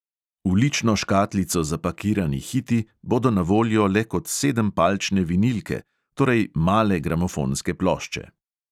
V lično škatlico zapakirani hiti bodo na voljo le kot sedempalčne vinilke, torej male gramofonske plošče.